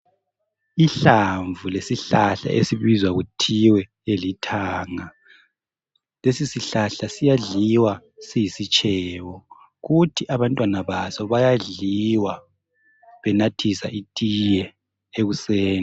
Ihlamvu lesihlala esibizwa kuthiwe lilithanga lesisihlahla siyadliwa siyisitshebo kuthi abantwana baso bayadliwa benathisa itiye ekuseni.